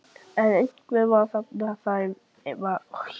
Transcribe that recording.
Logi Bergmann Eiðsson: Eru stór nöfn væntanleg?